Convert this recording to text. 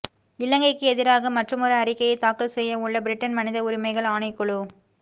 இலங்கைக்கு எதிராக மற்றுமொரு அறிக்கையை தாக்கல் செய்யவுள்ள பிரிட்டன் மனித உரிமைகள் ஆணைக்குழு